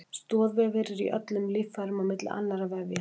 Stoðvefir eru í öllum líffærum á milli annarra vefja.